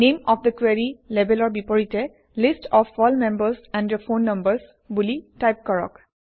নামে of the কোৰী লেবেলৰ বিপৰীতে list of all members and their phone numbers বুলি টাইপ কৰক